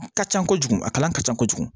A ka ca kojugu a kalan ka ca kojugu